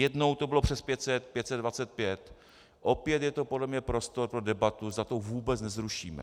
Jednou to bylo přes 500, 525, opět je to podle mě prostor pro debatu, zda to vůbec nezrušíme.